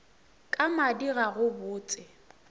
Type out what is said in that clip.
ka madi ga go botse